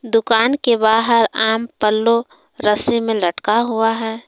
दुकान के बाहर आम पल्लो रस्सी में लटका हुआ है।